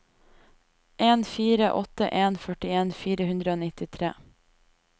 en fire åtte en førtien fire hundre og nittitre